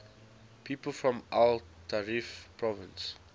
people from el taref province